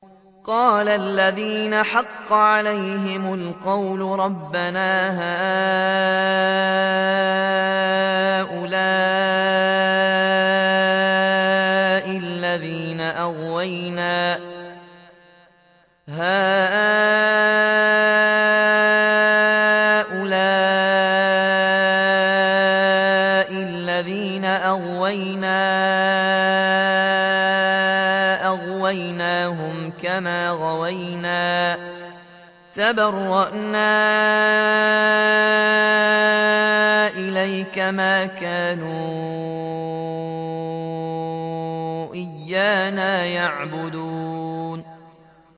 قَالَ الَّذِينَ حَقَّ عَلَيْهِمُ الْقَوْلُ رَبَّنَا هَٰؤُلَاءِ الَّذِينَ أَغْوَيْنَا أَغْوَيْنَاهُمْ كَمَا غَوَيْنَا ۖ تَبَرَّأْنَا إِلَيْكَ ۖ مَا كَانُوا إِيَّانَا يَعْبُدُونَ